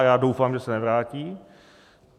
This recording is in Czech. A já doufám, že se nevrátí.